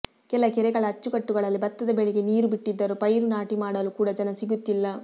ಕೆಲ ಕೆರೆಗಳ ಅಚ್ಚುಕಟ್ಟುಗಳಲ್ಲಿ ಭತ್ತದ ಬೆಳೆಗೆ ನೀರು ಬಿಟ್ಟಿದ್ದರೂ ಪೈರು ನಾಟಿ ಮಾಡಲು ಕೂಡ ಜನ ಸಿಗುತ್ತಿಲ್ಲ